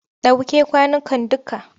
Ɗauke kwanukan dukka!